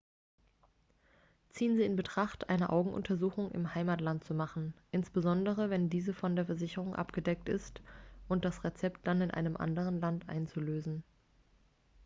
ziehen sie in betracht eine augenuntersuchung im heimatland zu machen insbesondere wenn diese von der versicherung abgedeckt ist und das rezept dann in einem anderen land einzulösen